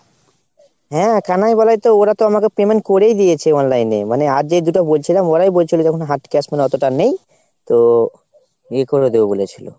হ্যাঁ কানাই বলাই তো ওরাতো আমাকে payment করেই দিয়েছে online এ। মানে আর যে দুটো বলছিলাম ওরাই বলছিলো যখন মানে হাত cash মানে অতোটা নেই তো ইয়ে করে দেবে বলেছিলো।